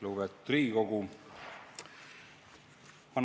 Lugupeetud Riigikogu!